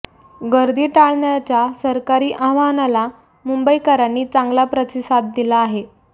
गर्दी टाळण्याच्या सरकारी आवाहनाला मुंबईकरांनी चांगला प्रतिसाद दिला आहे